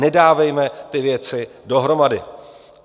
Nedávejme ty věci dohromady.